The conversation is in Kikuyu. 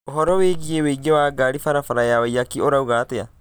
ũhoro wĩgiĩ ũingĩ wa ngari barabara ya waiyaki ũrauga atĨa